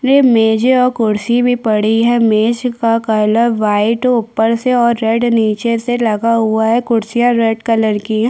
वे मेज और कुर्सीया भी पड़ी है मेज का कलर व्हाइट और रेड नीचे से लगा हुआ है और कुर्सियां रेड कलर की है।